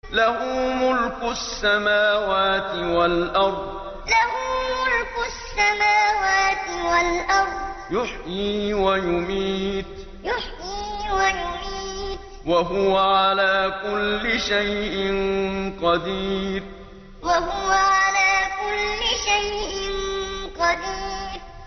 لَهُ مُلْكُ السَّمَاوَاتِ وَالْأَرْضِ ۖ يُحْيِي وَيُمِيتُ ۖ وَهُوَ عَلَىٰ كُلِّ شَيْءٍ قَدِيرٌ لَهُ مُلْكُ السَّمَاوَاتِ وَالْأَرْضِ ۖ يُحْيِي وَيُمِيتُ ۖ وَهُوَ عَلَىٰ كُلِّ شَيْءٍ قَدِيرٌ